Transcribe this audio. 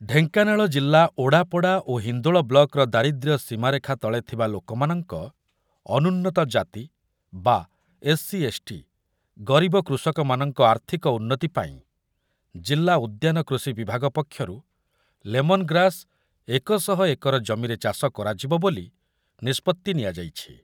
ଢେଙ୍କାନାଳ ଜିଲ୍ଲା ଓଡ଼ାପଡ଼ା ଓ ହିନ୍ଦୋଳ ବ୍ଲକର ଦାରିଦ୍ର୍ୟ ସୀମାରେଖା ତଳେ ଥିବା ଲୋକମାନଙ୍କ, ଅନୁନ୍ନତ ଜାତି ବା ଏସ୍‌ସି ଏସ୍‌ଟି, ଗରିବ କୃଷକମାନଙ୍କ ଆର୍ଥିକ ଉନ୍ନତି ପାଇଁ ଜିଲ୍ଲା ଉଦ୍ୟାନ କୃଷି ବିଭାଗ ପକ୍ଷରୁ ଲେମନ୍ ଗ୍ରାସ୍ ଏକ ଶହ ଏକର ଜମିରେ ଚାଷ କରାଯିବ ବୋଲି ନିଷ୍ପତ୍ତି ନିଆଯାଇଛି ।